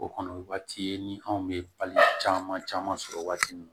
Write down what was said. O kɔni o waati ye ni anw bɛ pali caman caman sɔrɔ waati min na